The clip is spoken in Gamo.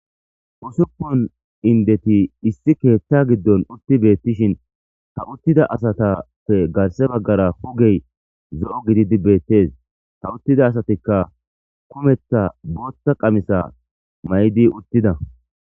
Usupun inddethi issi keeththaa giddon uththi beeththishin ha uththida asathape garssa baggara ogee zo7o gidizi beeththees; ha uththida asathikka kumeththa booththa qamisaa mayidi uththida.